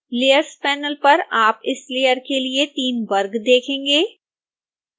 layers panel पर आप इस लेयर के लिए 3 वर्ग देखेंगे